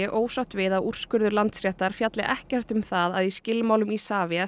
ósátt við að úrskurður Landsréttar fjalli ekkert um það að í skilmálum Isavia